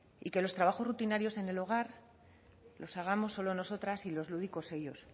y que los trabajos rutinarios en el hogar los hagamos solo nosotras y los lúdicos ellos